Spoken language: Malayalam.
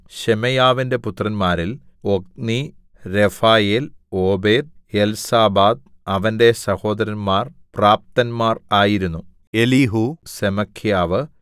ശെമയ്യാവിന്റെ പുത്രന്മാരിൽ ഒത്നി രെഫായേൽ ഓബേദ് എൽസാബാദ് അവന്റെ സഹോദരന്മാർ പ്രാപ്തന്മാർ ആയിരുന്നു എലീഹൂ സെമഖ്യാവ്